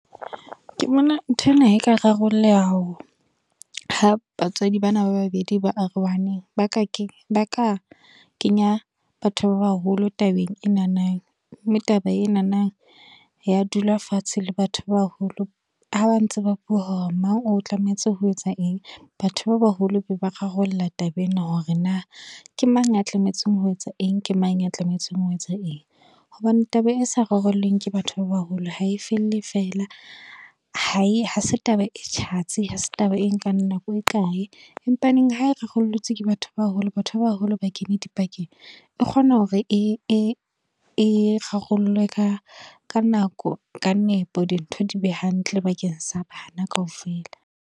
Ke bona nthwena e ka rarolleha ha batswadi bana ba babedi ba arohaneng. Ba ka, ba ka kenya batho ba baholo tabeng ena nang. Mme taba ena nang, ya dula fatshe le batho ba baholo. Ha ba ntse ba bua hore mang o tlametse ho etsa eng. Batho ba baholo be ba rarolla taba ena hore na, ke mang a tlametseng ho etsa eng, ke mang ya tlametse ho etsa eng. Hobane taba e sa rarollweng ke batho ba baholo, ha e felle feela. Ha e, ha se taba e tjhatsi. Ha se taba e nkang nako e kae. Empa neng ha e rarolotswe ke batho ba haholo. Batho ba baholo ba kene dipakeng, e kgona hore e e kgolo ka ka nako ka nepo. Dintho di be hantle bakeng sa bana kaofela.